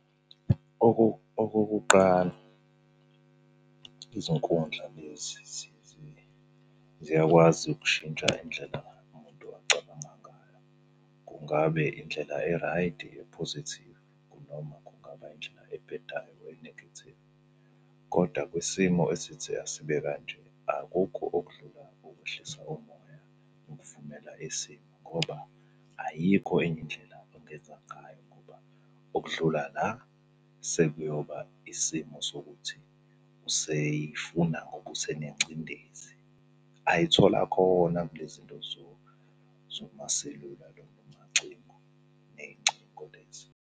Okokuqala izinkundla lezi ziyakwazi ukushintsha indlela umuntu acabanga ngayo. Kungabe indlela eraydi ephozethivu noma kungaba indlela ebhedayo enegethivu? Koda kwisimo esithi asibe kanje, akukho okudlula ukwehlisa umoya ukuvumela isimo ngoba ayikho enye indlela ongenza ngayo ngoba okudlula la sekuyoba isimo sokuthi useyifuna ngoba usenengcindezi, ayithola khona kule zinto zomaselula ney'ngcingo lezi.